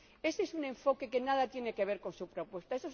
Ese es un enfoque que nada tiene que ver con su propuesta.